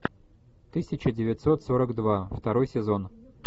тысяча девятьсот сорок два второй сезон